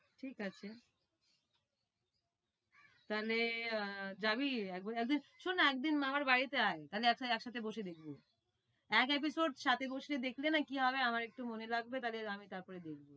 ঠিক আছে তাহলে আহ যাবি একদিন শোন না একদিন আমার বাড়িতে আয় তাহলে এক সাথে বসে দেখবো। এক episode সাথে বসে দেখলে না কি হবে আমার একটু মনে লাগবে তাহলে আমি তার পরে দেখবো